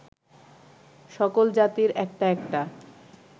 সকল জাতির একটা একটা